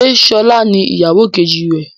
Ṣé sọlá ni ìyàwó kejì rẹ?